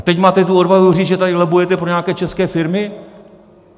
A teď máte tu odvahu říct, že tady lobbujete pro nějaké české firmy?